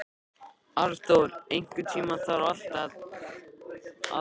Arnþór, einhvern tímann þarf allt að taka enda.